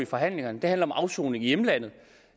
forhandlingerne handler om afsoning i hjemlandet